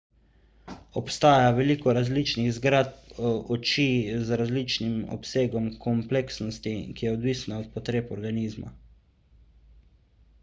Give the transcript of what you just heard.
obstaja veliko različnih zgradb oči z različnim obsegom kompleksnosti ki je odvisna od potreb organizma